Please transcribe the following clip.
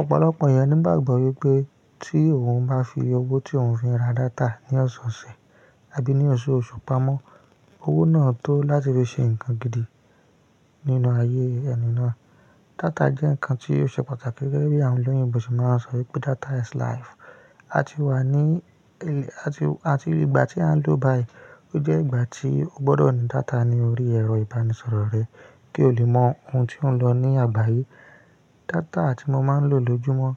Ọ̀pọ̀lọpọ̀ ènìyàn ni igbàgbọ́ wípé tí eeyan bá fi owó tí òun fi n ra data ní ọ̀sọ̀ọ̀sẹ̀ abí ní oṣù, oṣù pamọ́, owó náà tó láti fi se ǹkan gidi nínú ayé eni naa. Data jẹ́ ǹkan tí ó ṣe pàtàkì gẹ́gẹ́ bí àwọn olóyinbo se máa ń sọ wípé data is life. A ti wà ní-- àti, àti ìgbà tí à ń lò báyìí, ó jẹ́ ìgbà tí o gbọ́dọ̀ ní data ní orí ẹ̀rọ ìbánisọ̀rọ̀ rẹ kí o lè mọ ohun tí ó ń lọ ní àgbáyé. Data tí mo máa ń lò lójúmọ́